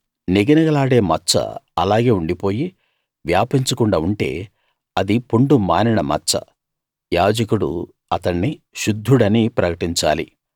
నిగనిగలాడే మచ్చ అలాగే ఉండిపోయి వ్యాపించకుండా ఉంటే అది పుండు మానిన మచ్చ యాజకుడు అతణ్ణి శుద్ధుడని ప్రకటించాలి